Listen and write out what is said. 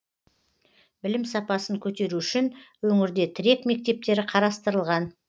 білім сапасын көтеру үшін өңірде тірек мектептері қарастырылған